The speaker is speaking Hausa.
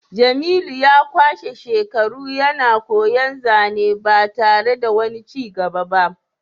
jemilu ya kwashe shekaru yana koyan zane ba tare da wani cigaba ba